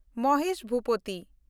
Mahesh Bhupathi